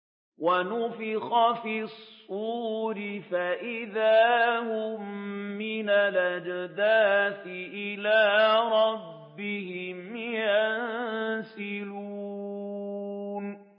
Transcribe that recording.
وَنُفِخَ فِي الصُّورِ فَإِذَا هُم مِّنَ الْأَجْدَاثِ إِلَىٰ رَبِّهِمْ يَنسِلُونَ